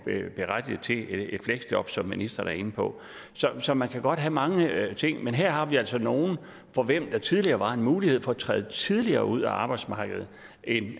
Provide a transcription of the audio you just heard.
berettiget til et fleksjob som ministeren er inde på så man kan godt have mange ting men her har vi altså nogle for hvem der tidligere var en mulighed for at træde tidligere ud af arbejdsmarkedet end